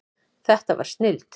Þetta var snilld.